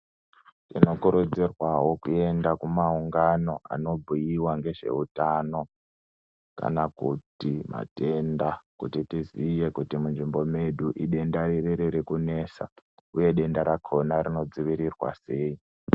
Tinokurudzirwawo kuenda kumaungano anobhuyiwa ngezveutano kana kuti matenda kuti tiziye kuti munzvimbo medu idenda riri riri kunesa, uye denda rakona rinodzivirirwa sei.